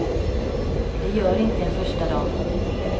Det gör inte en första dam.